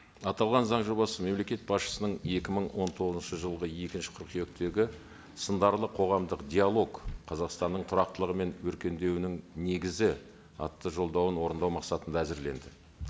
аталған заң жобасы мемлекет басшысының екі мың он тоғызыншы жылғы екінші қыркүйектегі сындарлы қоғамдық диалог қазақстанның тұрақтылығы мен өркендеуінің негізі атты жолдауын орындау мақсатында әзірленді